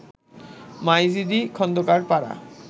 Maijdi Khondokar Para